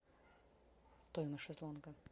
стоимость шезлонга